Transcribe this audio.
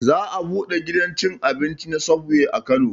Za a buɗe gidan cin abinci na subway a kano